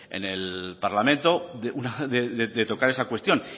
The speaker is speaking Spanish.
en el parlamento una vez de tocar esa cuestión